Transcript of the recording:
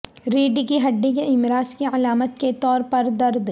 ریڑھ کی ہڈی کے امراض کی علامت کے طور پر درد